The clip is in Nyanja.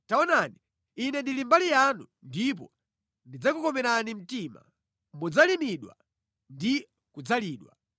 Taonani, Ine ndili mbali yanu ndipo ndidzakukomerani mtima. Mudzalimidwa ndi kudzalidwa.